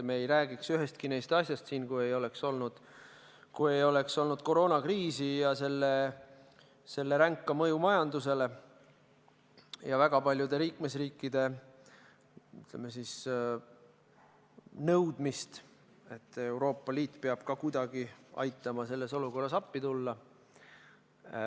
Me ei räägiks ühestki nendest asjadest siin, kui ei oleks olnud koroonakriisi ja selle ränka mõju majandusele ja väga paljude liikmesriikide, ütleme, nõudmist, et Euroopa Liit peab ka kuidagi aitama, selles olukorras appi tulema.